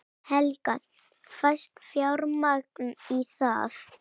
Helga: Fæst fjármagn í það?